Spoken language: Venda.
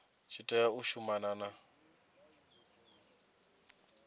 tshi tea u shumana na